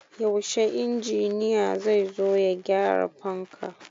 Yaushe injiniya zai zo ya gyara fanka?